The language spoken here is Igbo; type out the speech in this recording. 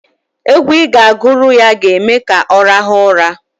Egwu ị ga-agụrụ ya ga-eme ka ọ rahụọ ụra.